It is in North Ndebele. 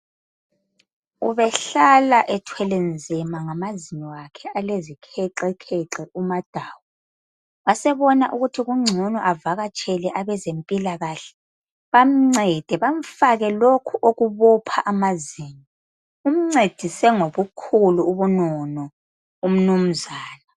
Ubehlala ethwele nzima ngamazinyo akhe alezikhexekhexe umaDawu. Wasebona ukuthi kungcono avakatshele abezempilakahle bamncede bamfake lokhu okubopha amazinyo. Umncedise ngobukhulu ubunono umnunzana.